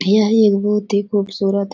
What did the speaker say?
यह एक बोहोत ही खुबसुरत --